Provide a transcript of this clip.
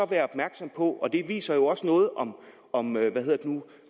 være opmærksom på det der viser noget om